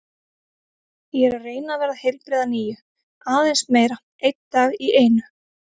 Ég er að reyna að verða heilbrigð að nýju, aðeins meira, einn dag í einu.